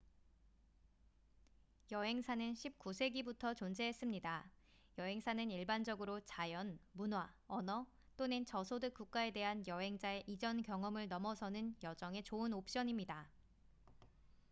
여행사는 19세기부터 존재했습니다 여행사는 일반적으로 자연 문화 언어 또는 저소득 국가에 대한 여행자의 이전 경험을 넘어서는 여정에 좋은 옵션입니다